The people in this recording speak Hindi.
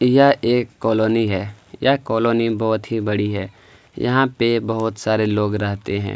यह एक कॉलोनी है यह कॉलोनी बहुत ही बड़ी है यहाँ पे बहुत सारे लोग रहते है।